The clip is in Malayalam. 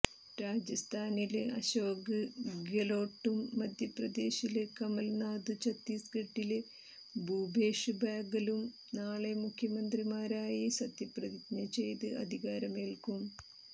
രാജസ്ഥാനില് അശോക് ഗെലോട്ടും മധ്യപ്രദേശില് കമല്നാഥും ഛത്തീസ്ഗഡില് ഭൂപേഷ് ബാഗലും നാളെ മുഖ്യമന്ത്രിമാരായി സത്യപ്രതിജ്ഞ ചെയ്ത് അധികാരമേല്ക്കും